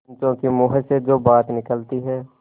पंचों के मुँह से जो बात निकलती है